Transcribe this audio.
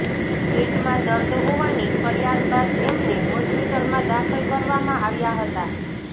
પેટમાં દર્દ હોવાની ફરિયાદ બાદ એમને હોસ્પિટલમાં દાખલ કરવામાં આવ્યા હતા